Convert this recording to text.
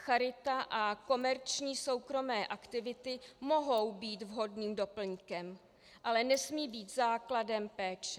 Charita a komerční soukromé aktivity mohou být vhodným doplňkem, ale nesmí být základem péče.